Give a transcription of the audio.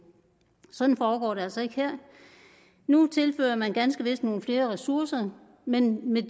sådan foregår det altså ikke her nu tilfører man ganske vist nogle flere ressourcer men med